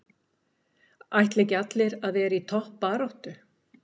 Ætla ekki allir að vera í toppbaráttu?